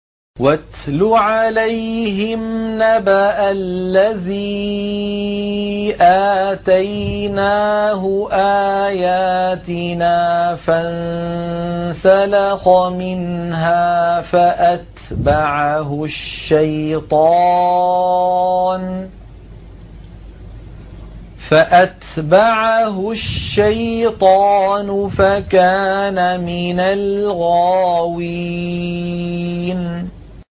وَاتْلُ عَلَيْهِمْ نَبَأَ الَّذِي آتَيْنَاهُ آيَاتِنَا فَانسَلَخَ مِنْهَا فَأَتْبَعَهُ الشَّيْطَانُ فَكَانَ مِنَ الْغَاوِينَ